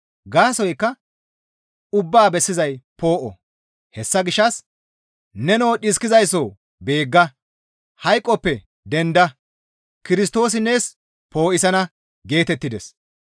Gaasoykka ubbaa bessizay poo7o; hessa gishshas, «Nenoo, dhiskizaysso beegga! Hayqoppe denda! Kirstoosi nees poo7isana» geetettides.